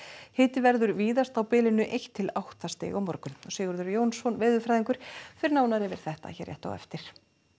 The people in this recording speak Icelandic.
hiti verður víðast á bilinu eitt til átta stig á morgun Sigurður Jónsson veðurfræðingur fer nánar yfir þetta hér rétt á eftir